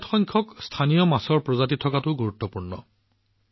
বৃহৎ সংখ্যক স্থানীয় মাছৰ প্ৰজাতি থকাটোও গুৰুত্বপূৰ্ণ